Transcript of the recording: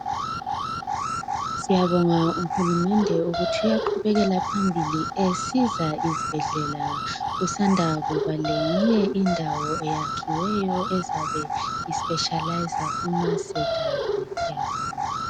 Siyabonga uhulumende ukuthi uyaqubekela phambili esiza izibhedlela kusanda kuba leyinye indawo eyakhiweyo ezabe ispeshaliza kumasejari siyabonga